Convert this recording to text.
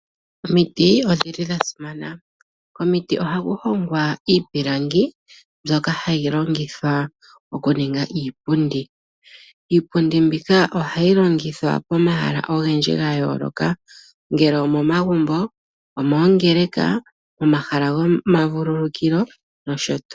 Oomiti odhili dhasimana ohadhi hongwa iipilangi pyoka hayi longilwa okuninga iipundi. iipundi mbika ohayilongilwa pomahala ponka pwayoloka ngele omomagumbo, mongeleka omahala goma vululikilo nosho tuu.